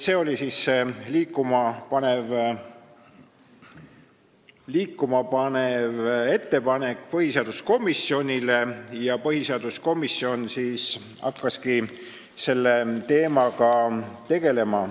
See oli see liikumapanev ettepanek, mis esitati põhiseaduskomisjonile, ja põhiseaduskomisjon hakkaski selle teemaga tegelema.